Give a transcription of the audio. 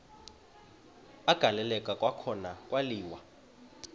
agaleleka kwakhona kwaliwa